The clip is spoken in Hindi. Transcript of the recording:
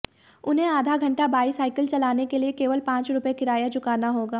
उन्हें आधा घंटा बाइसाइकिल चलाने के लिए केवल पांच रुपये किराया चुकाना होगा